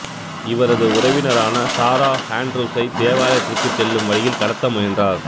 இவரது உறவினரான சாரா ஆன்டரூஸ்ஐ தேவாலயத்திற்குச் செல்லும் வழியில் கடத்த முயன்றார்